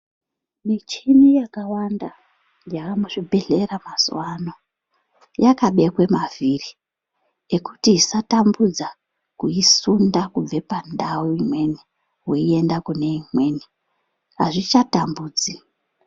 Michini yakawanda yaa muzvibhedhlera mazuwa ano yakabekwe mavhiri ekuti isatambudza kuisunda kubva pandau imweni weiende kune imweni azvichatambudzi.